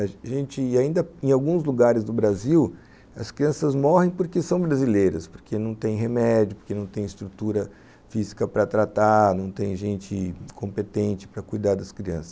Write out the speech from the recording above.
A gente, ainda em alguns lugares do Brasil, as crianças morrem porque são brasileiras, porque não tem remédio, porque não tem estrutura física para tratar, não tem gente competente para cuidar das crianças.